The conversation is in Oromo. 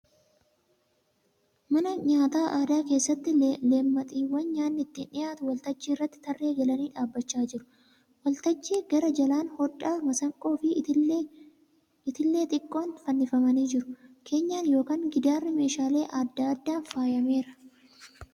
Mana myaata aadaa keessatti leemmaxiiwwan nyaanni ittiin dhiyaatu waltajjii irratti tarree galanii dhaabbachaa jiru. Waltajjii gara jalaan hodhaa, masanqoo fi itillee xiqqoon fannifamanii jiru. Keenyaan yookiin giddaarri meeshaalee aadaa adda addaan faayameera.